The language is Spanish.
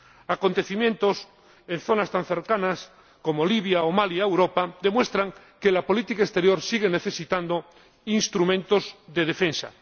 Acontecimientos en zonas tan cercanas a Europa como Libia o Mali demuestran que la política exterior sigue necesitando instrumentos de defensa.